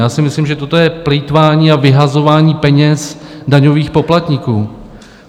Já si myslím, že toto je plýtvání a vyhazování peněz daňových poplatníků.